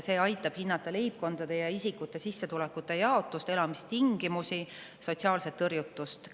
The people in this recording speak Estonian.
See aitab hinnata leibkondade ja isikute sissetulekute jaotust, elamistingimusi ja sotsiaalset tõrjutust.